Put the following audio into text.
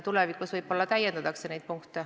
Tulevikus võib-olla täiendatakse neid punkte.